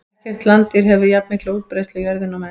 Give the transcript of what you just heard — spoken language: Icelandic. Ekkert landdýr hefur jafnmikla útbreiðslu á jörðinni og menn.